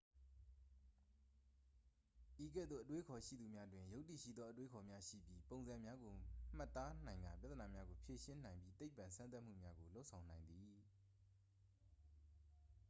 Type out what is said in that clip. ဤကဲ့သို့ အတွေးအခေါ်ရှိသူများတွင် ယုတ္တိရှိသော အတွေးအခေါ်များရှိပြီး ပုံစံများကို မှတ်သားနိုင်ကာ ပြဿနာများကို ဖြေရှင်းနိုင်ပြီး သိပ္ပံစမ်းသပ်မှုများကို လုပ်ဆောင်နိုင်သည်